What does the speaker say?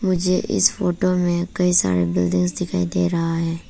मुझे इस फोटो में कई सारे बिल्डिंग्स दिखाई दे रहा है।